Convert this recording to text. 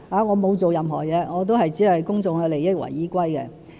我沒有做任何事，只是以公眾的利益為依歸。